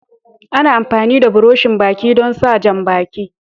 Ana amfani da buroshin Baki don sa jam-baki.